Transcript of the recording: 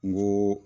N ko